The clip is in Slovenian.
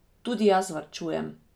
Tudi jaz varčujem!